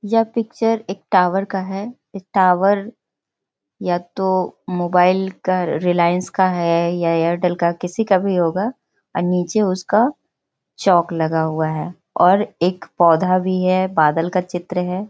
यह पिक्चर एक टावर का है । ये टावर या तो मोबाइल का रिलायंस का है या एयरटेल का किसी का भी होगा और नीचे उसका चौक लगा हुआ है और एक पौधा भी है बादल का चित्र है ।